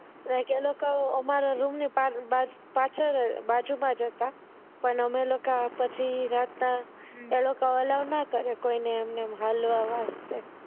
એ લોકો અમારી રૂમ ની બાજુ માં જ હતા પણ અમે લોકો રાત ના એ લોકો ને Allow ના કરે હાલવા વાસ્તે